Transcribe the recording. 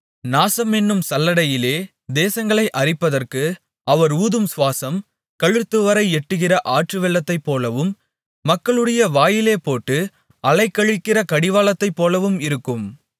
நாசம் என்னும் சல்லடையிலே தேசங்களை அரிப்பதற்கு அவர் ஊதும் சுவாசம் கழுத்துவரை எட்டுகிற ஆற்றுவெள்ளத்தைப்போலவும் மக்களுடைய வாயிலே போட்டு அலைக்கழிக்கிற கடிவாளத்தைப்போலவும் இருக்கும்